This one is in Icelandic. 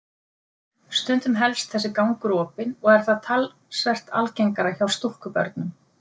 Stundum helst þessi gangur opinn og er það talsvert algengara hjá stúlkubörnum.